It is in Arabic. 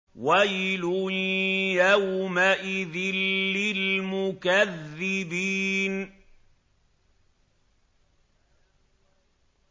وَيْلٌ يَوْمَئِذٍ لِّلْمُكَذِّبِينَ